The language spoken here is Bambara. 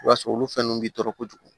I b'a sɔrɔ olu fɛn ninnu bɛ tɔɔrɔ kojugu